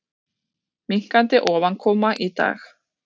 Minnkandi ofankoma í dag